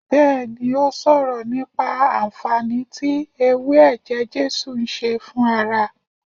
Bẹẹni, ó sọ̀rọ̀ nípa anfaani tí ewé ẹ̀jẹ̀ Jésù ń ṣe fún ara